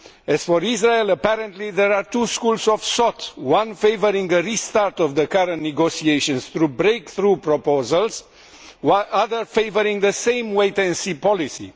As for Israel, apparently there are two schools of thought one favouring a restart of the current negotiations through breakthrough proposals, the other favouring the same wait and see' policy.